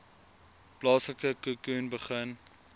plaaslike khoekhoen begin